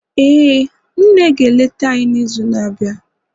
ee, nne ga-eleta anyi n'izu na-abịa